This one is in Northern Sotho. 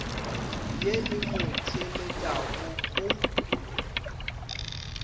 ye e mo theeletšago o